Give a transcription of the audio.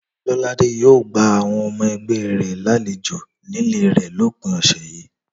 Lọ́ládé yóò gba àwọn ọmọ ẹgbẹ́ rẹ̀ lálejò nílé rẹ̀ lópin ọ̀sẹ̀ yìí